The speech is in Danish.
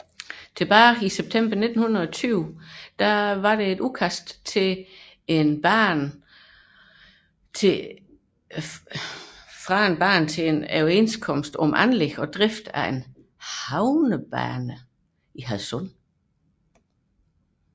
I september 1920 forelå et udkast fra banen til en overenskomst om anlæg og drift af en havnebane i Hadsund